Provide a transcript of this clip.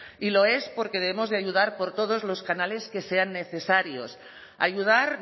y lo es porque debemos de ayudar por todos los canales que sean necesarios ayudar